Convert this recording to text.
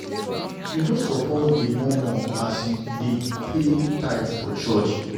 You no suppose dey murmur as you dey payy tithe for church.